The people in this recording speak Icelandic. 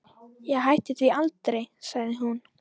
Ég hætti því aldrei, sagði hún.